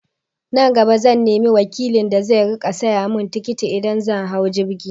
Nan gaba zan nemi wakilin da zai riƙa saya mun tikiti idan zan hau jirgi